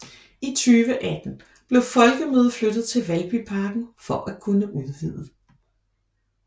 I 2018 blev folkemødet flyttet til Valbyparken for at kunne udvide